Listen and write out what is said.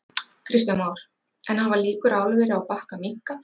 Kristján Már: En hafa líkur á álveri á Bakka minnkað?